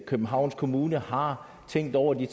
københavns kommune har tænkt over de